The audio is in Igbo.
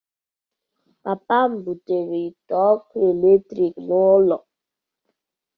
Papa m butere ite ọkụ eletrik n'ụlọ.